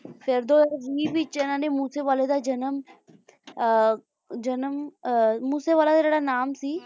ਫੇਰ ਦੋ ਹਜ਼ਾਰ ਵੀਹ ਵਿੱਚ ਇਨ੍ਹਾਂ ਨੇ ਮੂਸੇਵਾਲੇ ਦਾ ਜਨਮ ਅਹ ਜਨਮ ਅਹ ਮੂਸੇਵਾਲੇ ਦਾ ਜਿਹੜਾ ਨਾਮ ਸੀ